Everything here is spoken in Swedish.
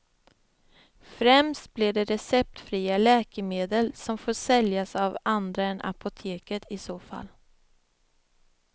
Främst blir det receptfria läkemedel som får säljas av andra än apoteket i så fall.